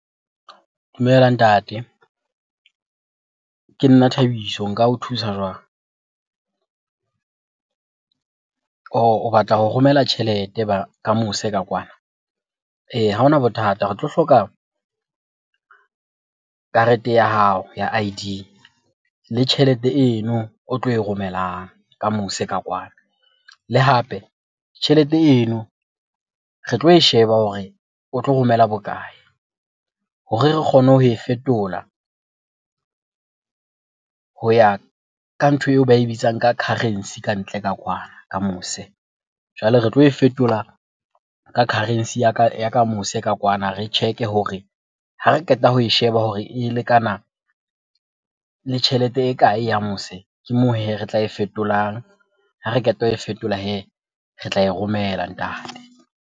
Dumela ntate. Ke nna Thabiso, nka o thusa jwang? Ohh! O batla ho romela tjhelete ka mose ka kwana. Ha hona bothata re tlo hloka karete ya hao ya I_D le tjhelete eno o tlo e romelang ka mose ka kwano. Le hape, tjhelete eno re tlo e sheba hore o tlo romela bokae? Hore re kgone ho e fetola ho ya ka ntho eo ba e bitsang ka currency ka ntle ka kwana, ka mose. Jwale re tlo e fetola ka currency ka ya ka mose kwana re check-e hore ha re qeta ho e sheba hore e lekana le tjhelete e kae ya mose? Ke moo hee re tla e fetolang, ha re qeta ho e fetola hee re tla e romela ntate.